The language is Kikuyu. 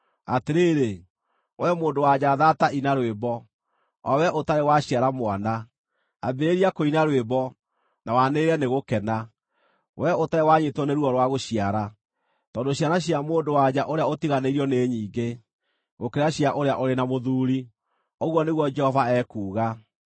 “Atĩrĩrĩ, wee mũndũ-wa-nja thaata ina rwĩmbo, o wee ũtarĩ waciara mwana; ambĩrĩria kũina rwĩmbo, na wanĩrĩre nĩ gũkena, wee ũtarĩ wanyiitwo nĩ ruo rwa gũciara, tondũ ciana cia mũndũ-wa-nja ũrĩa ũtiganĩirio nĩ nyingĩ, gũkĩra cia ũrĩa ũrĩ na mũthuuri,” ũguo nĩguo Jehova ekuuga.